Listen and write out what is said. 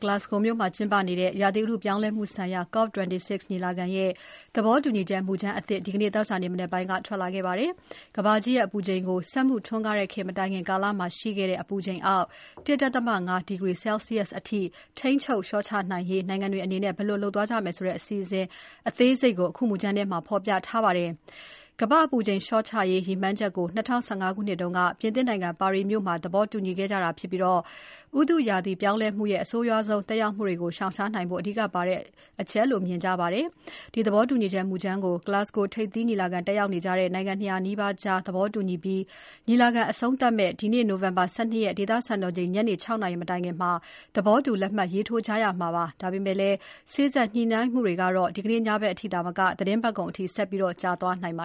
Glasgow မြို့မှာကျင်းပနေတဲ့ ဥတုရာသီပြောင်းလဲမှုဆိုင်ရာ COP26 ညီလာခံရဲ့ သဘောတူညီချက် မူကြမ်းအသစ် ဒီနေ့ သောကြာနေ့ မနက်ပိုင်းမှာ ထွက်လာပါတယ်။ ကမ္ဘာကြီးရဲ့အပူချိန်ကို စက်မှုထွန်းကားတဲ့ခေတ် မတိုင်ခင်ကာလမှာ ရှိခဲ့တဲ့အပူချိန်အောက် ၁.၅ ဒီဂရီ ဆဲလ်ဆီးယပ်စ်အထိ ထိန်းချုပ်လျှော့ချရေး နိုင်ငံတွေအနေနဲ့ ဘယ်လိုလုပ်သွားကြမယ်ဆိုတဲ့ အစီအစဉ်အသေးစိတ်ကို အခုမူကြမ်းထဲမှာ ဖော်ပြထားပါတယ်။ ကမ္ဘာ့အပူချိန်လျှော့ချရေး ဒီရည်မှန်းချက်ကို ၂၀၁၅ ခုနှစ်က ပြင်သစ်နိုင်ငံ၊ ပါရီမြို့မှာ သဘောတူခဲ့ကြတာဖြစ်ပြီး ဥတုရာသီ ပြောင်းလဲမှုရဲ့ အဆိုးရွားဆုံးသက်ရောက်မှုတွေကို ရှောင်ရှားနိုင်ဖို့ အဓိကအရေးပါတဲ့အချက်အဖြစ် မြင်ကြပါတယ်။ ဒီသဘောတူညီချက် မူကြမ်းကို Glasgow ထိပ်သီးညီလာခံတက်ရောက်နေကြတဲ့ နိုင်ငံ ၂၀၀ နီးပါးကြား သဘောတူညီပြီး ညီလာခံအဆုံးသတ်မယ့် ဒီနေ့ နိုဝင်ဘာ ၁၂ ရက် ဒေသစံတော်ချိန် ညနေ ၆ နာရီ မတိုင်ခင် သဘောတူလက်မှတ်ထိုးကြရမှာဖြစ်ပါတယ်။ ဒါပေမယ့်လည်း စေ့စပ်ညှိနှိုင်းမှုတွေကတော့ ဒီကနေ့ညဘက်အထိသာမက သီတင်းပတ်ကုန်အထိ ဆက်ကြာသွားနိုင်ပ